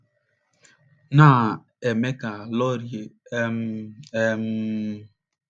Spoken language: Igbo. na - eme ka Laurie um, um.